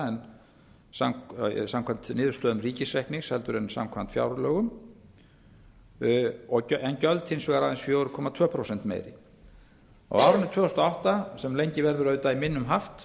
í fyrra samkvæmt niðurstöðum ríkisreikningsins en samkvæmt fjárlögum en gjöld hins vegar aðeins fjögur komma tveimur prósentum meiri á árinu tvö þúsund og átta sem lengi verður auðvitað í minnum haft